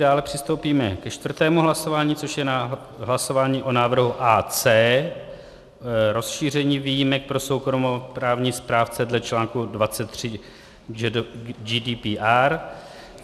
Dále přistoupíme ke čtvrtému hlasování, což je hlasování o návrhu AC - rozšíření výjimek pro soukromoprávní správce dle článku 23 GDPR.